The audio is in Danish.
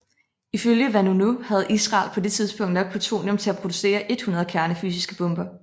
Ifølge Vanunu havde Israel på det tidspunkt nok plutonium til at producere 100 kernefysiske bomber